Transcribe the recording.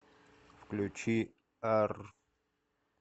включи ар